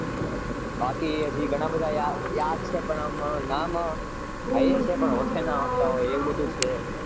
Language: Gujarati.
બાકી હજી ઘણા બધા યાદ યાદ છે પણ આમ નામ હૈયે છે પણ હોંઠે ન આવતા હોય એવું બધુ છે.